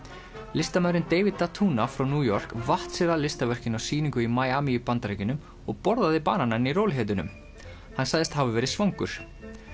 listamaðurinn David frá New York vatt sér að listaverkinu á sýningu í í Bandaríkjunum og borðaði bananann í rólegheitunum hann sagðist hafa verið svangur